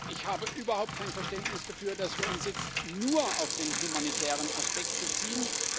Ich habe überhaupt kein Verständnis dafür, dass wir uns jetzt nur auf den humanitären Aspekt beziehen.